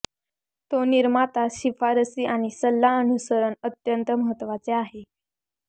तो निर्माता शिफारसी आणि सल्ला अनुसरण अत्यंत महत्वाचे आहे